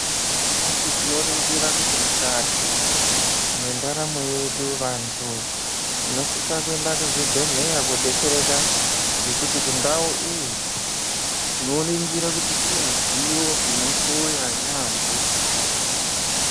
Nyamashi tinoringira kuti mukati mwendaramo yedu antu tinosisa kuenda kuzvibhedhleya kobetsereka. Ngekuti kundau iyi unoningira kuti kunemidziyo inohloya yaamho.